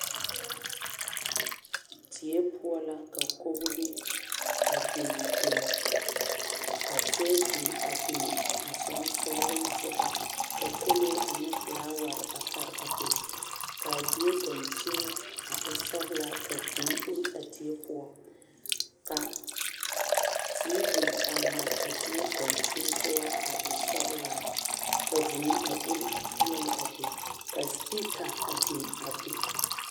Die poɔ la ka kogri be a biŋ biŋ ka tabol a biŋ a sensoliŋ sɔŋɔ ka kolee ane felaware a pare a be ka a die dankyini e sɔglaa ka vūū oori a die poɔ ka tiivi a mare a die dankyini poɔ e sɔglaa ka vūū a oori a peɛle a be ka sipiika biŋ.